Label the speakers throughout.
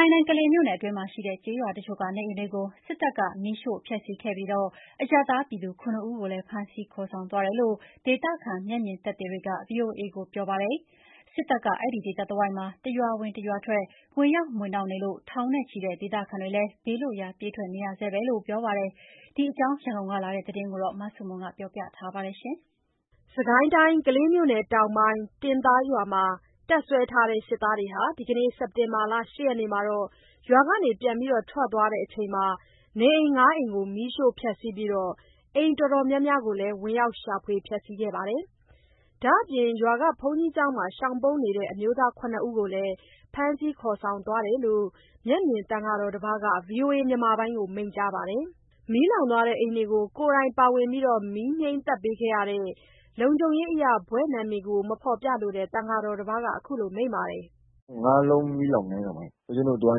Speaker 1: ိုင်းတိုင်း၊ ကလေးမြို့နယ်အတွင်းမှာရှိတဲ့ ကျေးရွာတချို့က နေအိမ်တွေကို စစ်တပ်က မီးရှို့ ဖျက်ဆီးခဲ့ပြီး အရပ်သားပြည်သူ ၇ ဦးကိုလည်း ဖမ်းဆီး ခေါ်ဆောင်သွားတယ်လို့ ဒေသခံ မျက်မြင်သက်သေတွေက ဗွီအိုအေကို ပြောပါတယ်။ စစ်တပ်က အဲ့ဒီဒေသတစ်ဝိုက်မှာ တစ်ရွာဝင်တစ်ရွာထွက် ဝင်ရောက်မွှေနှောက်နေလို့ ထောင်နဲ့ချီတဲ့ ဒေသခံတွေ ဘေးလွတ်ရာ ပြေးထွက်နေရဆဲပဲလို့ ပြောပါတယ်။ ဒီအကြောင်း ရန်ကုန်ကလာတဲ့သတင်း မဆုမွန်ပြောပြပါမယ်။ စစ်ကိုင်းတိုင်း ကလေးမြို့နယ်တောင်ပိုင်း တင်သားရွာမှာ တပ်စွဲထားတဲ့ စစ်သားတွေ ဒီကနေ့ စက်တင်ဘာ ၈ ရက်နေ့မှာ ရွာကနေပြန်ထွက်သွားချိန် နေအိမ် ၅ အိမ်ကို မီးရှို့ဖျက်ဆီးပြီး အိမ်တော်တော်များများ ဝင်ရောက် ရှာဖွေ ဖျက်ဆီးခံခဲ့ရပါတယ်။ ဒါ့အပြင် ရွာက ဘုန်းကြီးကျောင်းမှာ ရှောင်ပုန်းနေတဲ့ အမျိုးသား ၇ ဦးကိုလည်း ဖမ်းဆီးခေါ်ဆောင်သွားတယ်လို့ မျက်မြင် သံဃာတော်တစ်ပါးက ဗွီအိုအေကို မိန့်ကြားပါတယ်။ မီးလောင်းသွားတဲ့ အိမ်တွေကို ကိုယ်တိုင်း ပါဝင် မီးငြိမ်းပေးခဲ့တဲ့ လုံခြုံရေးအရဘွဲ့နာမည် မဖော်ပြလိုတဲ့ သံဃာတော်တစ်ပါးက အခုလို မိန့်ပါတယ်
Speaker 2: ။ “ ၅လုံးမီးလောင်းတယ်၊ ဦးဇင်းတို့သွား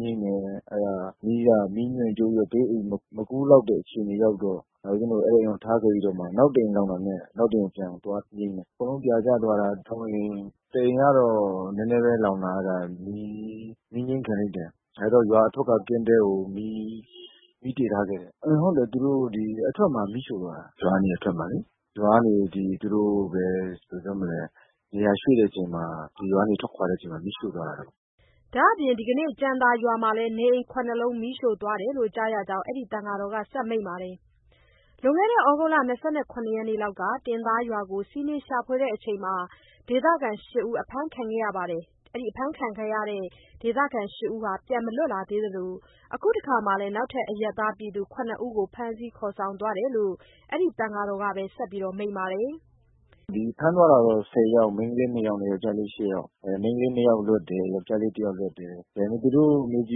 Speaker 2: ငြိမ်းတယ်။ အဲ့ဒါ မီးက မီးမြန်မြန်ချိုးပြီးတော့ ဘေးအိမ်မကူးလောက်တဲ့ အခြေအနေရောက်တော့ ဦးဇင်းတို့ အဲ့ဒီအိမ်ကို ထားခဲ့ပြီးတော့မှ နောက်တစ်အိမ်လောင်တာနဲ့ နောက်တစ်အိမ်ကို ပြန်သွားငြိမ်းတယ်။ အကုန်လုံးပြာကျသွားတာ ၃ အိမ်။ တစ်အိမ်ကတော့ နည်းနည်းပဲလောင်တာ။ အဲ့ဒါ မီးငြိမ်းခင်လိုက်တယ်။ အဲဒါ ရွာအထွက်က ကင်းတဲကို မီးတေ့ထားခဲ့တယ်။ ဟုတ်တယ် (စစ်ကောင်စီ)သူတို့ အထွက်မှာ မီးရှို့သွားတာ ရွာကနေအထွက်မှာလေ။ ရွာကနေ ဒီ သူတို့ပဲ ဘယ်လိုပြောမလဲ နေရာရွှေ့တဲ့အချိန်မှာ ဒီရွာကနေထွက်ခွာတဲ့ အချိန်မှာ မီးရှို့သွားတာ။
Speaker 1: ” ဒါအပြင် ဒီကနေ့ ကြံသာရွာမှာလည်း နေအိမ် ၇ လုံး မီးရှို့သွားတယ်လို့ ကြားရကြောင်း အဲ့ဒီသံဃာတော်က ဆက်မိန့်ပါတယ်။ လွန်ခဲ့တဲ့ သြဂုတ် ၂၇ ရက်နေ့လောက်က တင်သားရွာကို စီးနင်းရှာဖွေတုန်းက ဒေသခံ ၈ ဦးဖမ်းခံရပြီး ပြန်မလွတ်လာသေးသလို အခုတစ်ခါလည်း နောက်ထပ် အရပ်သားပြည်သူ ၇ ဦးကို ဖမ်းဆီးခေါ်ဆောင်သွားတယ်လို့ အဲဒီသံဃာတော်က ဆက်လက်မိန့်ပါတယ်။
Speaker 2: “ဒီဖမ်းသွားတာတော့ ၁၀ ယောက်၊ မိန်းကလေး ၂ယောက်နဲ့ ယောကျာ်လေး ၈ ယောက်။ အဲ့မိန်းကလေး ၂ ယောက်လွတ်တယ်။ ယောကျာ်လေး ၁ ယောက်လွတ်တယ်။ သူတို့ကို မေးကြ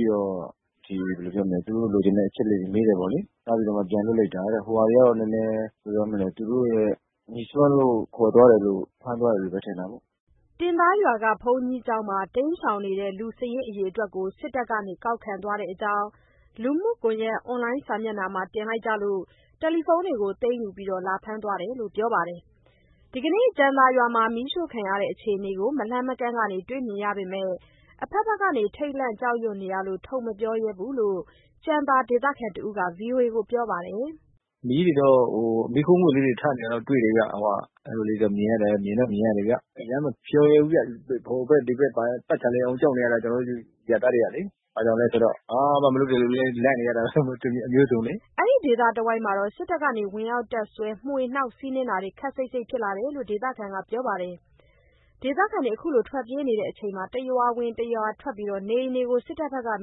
Speaker 2: ည့်တော့ ဒီဘယ်လိုပြောရမလဲ (စစ်ကောင်စီက) သူတို့ လိုချင်တဲ့ အချက်အလက် မေးတယ်ပေါ့လေ။ အဲ့ဒါပြီးမှ ပြန်လွတ်လိုက်တာတဲ့။ ဟိုဟာတွေကတော့ နည်းနည်း ဘယ်လိုပြောမလဲ၊ သူတို့နဲ့ ငြိစွန်းလို့ ခေါ်သွားတယ်လို့ ဖမ်းသွားတယ်လို့ပဲထင်တာပေါ့။”
Speaker 1: တင်သားရွာ ဘုန်းကြီးကျောင်းမှာ တိမ်းရှောင်နေတဲ့ လူစာရင်းအရေအတွက်ကို စစ်တပ်က ကောက်ခံသွားတဲ့ အကြောင်း လူမှုကွန်ရက်အွန်လိုင်းမျက်နှာမှာ တင်လိုက်ကြလို့ တယ်လီဖုန်းတွေ သိမ်းယူပြီး လာဖမ်းသွားတယ်လို့ ပြောပါတယ်။ ဒီကနေ့ ကြံသာရွာမှာ မီးရှို့ခံရတဲ့ အခြေအနေကို မလှမ်းမကမ်းကနေ တွေ့မြင်ရပေမယ့် အဖက်ဖက်ကို ထိတ်လန့်ကြောက်ရွံ့နေရလို့ ထုတ်မပြောရဲဘူးလို့ ကြံသာဒေသခံတစ်ဦးက ဗွီအိုအေကို ပြောပါတယ်။
Speaker 2: “မီးတွေတော့ မီးခိုးငွေ့လေးတွေထနေတာ တွေ့တယ်ဗျ။ဟိုဟာ အဲ့လိုလေးတွေ မြင်ရတယ်ဗျ။ အရမ်းမပြောရဲဘူးဗျ။ ဟိုဖက်ဒီဖက် ပတ်ချာလည်အောင်ကြောက်နေရတာကျနော်တို့ အရပ်သားတွေကလေ။ ဘာကြောင့်လဲဆိုတော့ ဘာမှမလုပ်တဲ့လူလည်း လန့်နေရတာ အမျိုးစုံဆိုတော့လေ။
Speaker 1: ” အဲ့ဒီဒေသတစ်ဝိုက်မှာ စစ်တပ်က ဝင်ရောက်တပ်စွဲ မွှေနှောက်စီးနင်းနေတာ ခပ်စိပ်စိပ်ဖြစ်လာတယ်လို့ ဒေသခံ ပြောပါတယ်။ ဒေသခံတွေ ထွက်ပြေးနေချိန် တရွာဝင် တရွာထွက် နေအိမ်တွေကို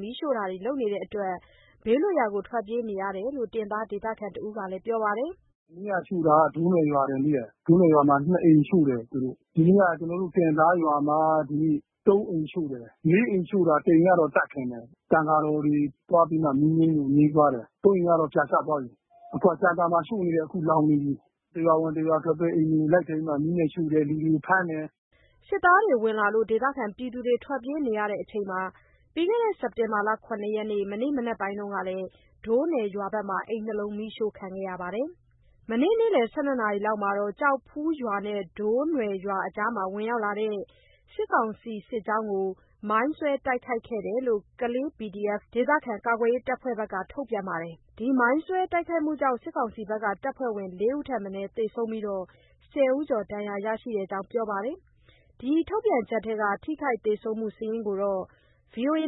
Speaker 1: မီးရှို့တာတွေ လုပ်နေတဲ့အတွက် ဘေးလွတ်ရာကို ထွတ်ပြေးနေရတယ်လို့ တင်သားဒေသခံ တစ်ဦးက ပြောပါတယ်။
Speaker 2: “မနေ့ကရှို့တာ ဒိုးနွယ်ရွာထိတယ်။ ဒိုးနွယ်ရွာမှာ ၂ အိမ် ရှို့တယ်။ ဒီနေ့က ကျနော်တို့ တင်သားရွာမှာ ဒီနေ့ ၃ အိမ်ရှို့တယ်၊ ၄ အိမ်ရှို့တာ တစ်အိမ်ကတော့ (မီးငြိမ်းနိုင်ခဲ့) သတ်ခံတယ်။ သံဃာတော်တွေသွားပြီးမှ မီးငြိမ်းလို့ ငြိမ်းသွားတယ်။ ၃ အိမ်ကတော့ ပြားကျသွားပြီ။ အခုက ကြံသာမှာ ရှို့နေတယ် အခုလောင်းနေပြီ။ တစ်ရွာဝင်တစ်ရွာထွက်ပဲ အိမ်တွေကိုလိုက်ပြီးမှမီးနဲ့ ရှို့တယ် လူတွေကို ဖမ်းတယ်။
Speaker 1: ” စစ်သားတွေ ဝင်လာလို့ ဒေသခံထွက်ပြေးနေချိန် စက်တင်ဘာ ၇ ရက် မနေ့ မနက်ပိုင်းက ဒိုးနွယ်ရွာမှာ အိမ် ၂ လုံး မီးရှို့ခံရတယ်လို့ ပြောပါတယ်။ မနေ့က နေ့လယ် ၁၂ နာရီလောက်မှာ ကျောက်ဖူးရွာနဲ့ ဒိုးနွယ်ရွာ အကြား ဝင်ရောက်လာတဲ့ စစ်ကောင်စီစစ်ကြောင်းကို မိုင်းဆွဲတိုက်ခဲ့တယ်လို့ ကလေး PDF အဖွဲ့က ထုတ်ပြန်ထားပါတယ်။ မိုင်းဆွဲတိုက်ခိုက်မှုကြောင့် စစ်ကောင်စီတပ်ဖွဲ့ ၄ ဦးထက်မနည်း သေဆုံးပြီး ၁၀ ဦးကျော် ဒဏ်ရာရရှိတဲ့အကြောင်း ပြောထားပါတယ်။ ဒီထုတ်ပြန်ချက်ထဲက ထိခိုက်သေဆုံးမှုစာရင်းကိုတော့ ဗီအိုအေက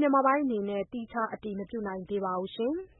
Speaker 1: သီးခြား အတည်မပြုနိုင်သေးပါဘူး။